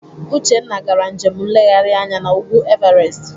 Uchenna gara njem nleghari anya n'ugwu Everest.